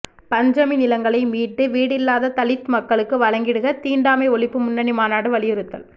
பஞ்சமி நிலங்களை மீட்டு வீடில்லாத தலித் மக்களுக்கு வழங்கிடுக தீண்டாமை ஒழிப்பு முன்னணி மாநாடு வலியுறுத்தல்